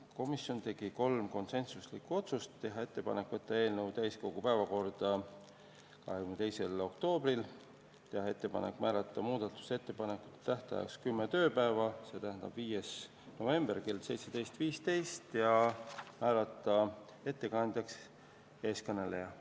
Komisjon tegi kolm konsensuslikku otsust: teha ettepanek võtta eelnõu täiskogu päevakorda 22. oktoobriks, teha ettepanek määrata muudatusettepanekute tähtajaks kümme tööpäeva, st 5. november kell 17.15, ja määrata ettekandjaks eeskõneleja.